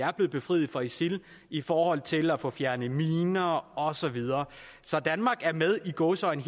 er blevet befriet fra isil i forhold til at få fjernet miner og så videre så danmark er i gåseøjne